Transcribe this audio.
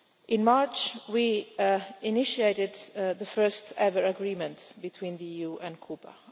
In March we initiated the first ever agreement between the EU and Cuba.